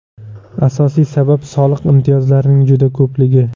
Asosiy sabab soliq imtiyozlarining juda ko‘pligi.